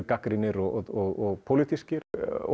gagnrýnir og pólitískir